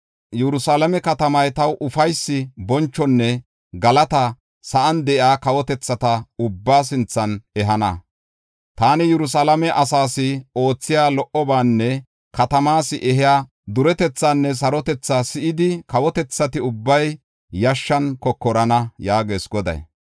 Yerusalaame katamay taw ufaysi, bonchonne galata sa7an de7iya kawotethata ubbaa sinthan ehana. Taani Yerusalaame asaas oothiya lo77obaanne katamaas ehiya duretethaanne sarotethaa si7idi, kawotethati ubbay yashshan kokorana” yaagees Goday.